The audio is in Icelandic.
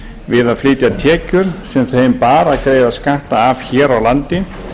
við að flytja tekjur sem þeim bar að greiða skatta af hér á landi